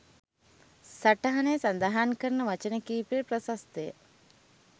සටහනේ සදහන් කරන වචන කීපය ප්‍රශස්තය.